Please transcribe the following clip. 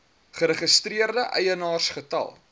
geregistreerde eienaars getal